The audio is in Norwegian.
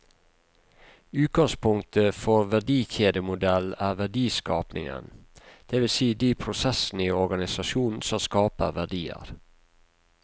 Utgangspunktet for verdikjedemodellen er verdiskapingen, det vil si de prosessene i organisasjonen som skaper verdier.